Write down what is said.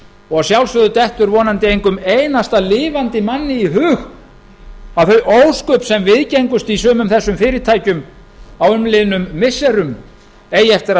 og sjálfsögðu dettur vonandi engum einasta lifandi manni í hug að þau ósköp sem viðgengust í sumum þessum fyrirtækjum á umliðnum missirum eigi eftir að